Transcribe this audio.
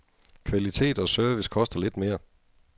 Kvalitet og service koster lidt mere.